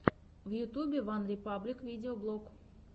в ютюбе ван репаблик видеоблог